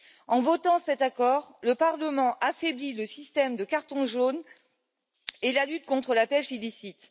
En votant cet accord, le Parlement affaiblit le système de carton jaune et la lutte contre la pêche illicite.